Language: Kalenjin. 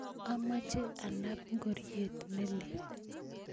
amoche anaab ngoriet ne lel